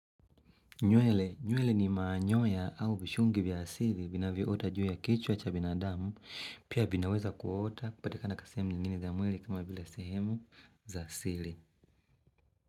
Nywele, nywele ni manyoya au vishungi vya asili vina vyota juu ya kichwa cha binadamu, pia vinaweza kuota kupatika na kasehemu ni nini za mwili kama bila sehemu za sili.